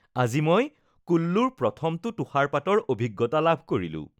আজি মই কুল্লুৰ প্ৰথমটো তুষাৰপাতৰ অভিজ্ঞতা লাভ কৰিলোঁ